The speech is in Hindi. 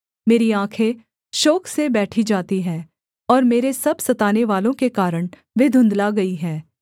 मेरी आँखें शोक से बैठी जाती हैं और मेरे सब सतानेवालों के कारण वे धुँधला गई हैं